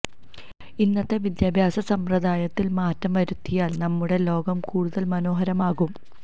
ഇന്നത്തെ വിദ്യാഭ്യാസ സമ്പ്രദായത്തിൽ മാറ്റം വരുത്തിയാൽ നമ്മുടെ ലോകം കൂടുതൽ മനോഹരമാകും